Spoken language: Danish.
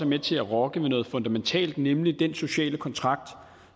med til at rokke ved noget fundamentalt nemlig den sociale kontrakt